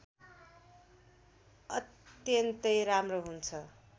अत्यन्तै राम्रो हुन्छ